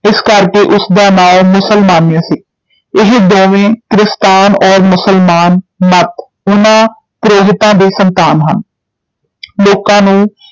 ਇਸ ਕਰਕੇ ਉਸ ਦਾ ਨਾਉਂ ਮੁਸਲ-ਮਾਨਯ ਸੀ, ਇਹ ਦੋਵੇਂ ਕਿਸਤਾਨ ਔਰ ਮੁਸਲਮਾਨ ਮਤ, ਉਨ੍ਹਾਂ ਪੁਰੋਹਿਤਾਂ ਦੀ ਸੰਤਾਨ ਹਨ ਲੋਕਾਂ ਨੂੰ